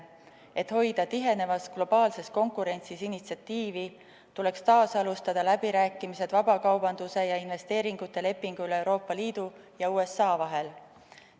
Et hoida tihenevas globaalses konkurentsis initsiatiivi, tuleks taasalustada läbirääkimisi vabakaubanduse ja investeeringute lepingu üle Euroopa Liidu ja USA vahel.